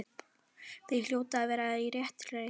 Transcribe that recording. Þau hljóta að vera á réttri leið.